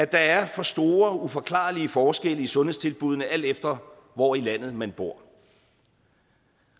der er for store uforklarlige forskelle i sundhedstilbuddene alt efter hvor i landet man bor